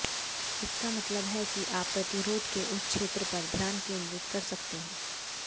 इसका मतलब है कि आप प्रतिरोध के उस क्षेत्र पर ध्यान केंद्रित कर सकते हैं